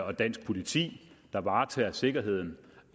og dansk politi der varetager sikkerheden